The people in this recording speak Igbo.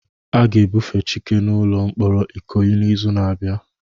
A ga-ebufe Chike n'ụlọ mkpọrọ Ikoyi n'izu na-abịa